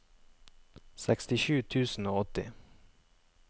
sekstisju tusen og åtti